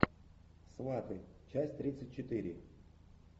сваты часть тридцать четыре